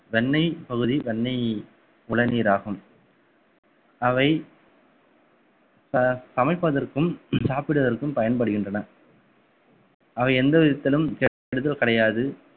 வெண்ணெய் பகுதி வெண்ணெய் உளநீர் ஆகும் அவை ச~ சமைப்பதற்கும் சாப்பிடுவதற்கும் பயன்படுகின்றன அவை எந்த விதத்திலும் கெடுதல் கிடையாது